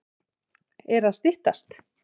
Er að styttast?